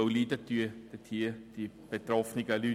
Denn die betroffenen Leute leiden.